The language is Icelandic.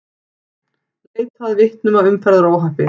Leita að vitnum að umferðaróhappi